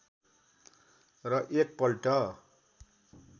र एक पल्ट